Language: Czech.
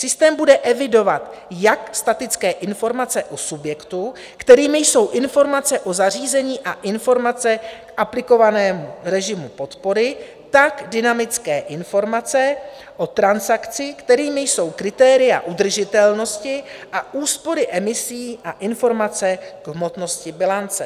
Systém bude evidovat jak statické informace u subjektů, kterými jsou informace o zařízení a informace k aplikovanému režimu podpory, tak dynamické informace o transakci, kterými jsou kritéria udržitelnosti a úspory emisí a informace k hmotnosti bilance.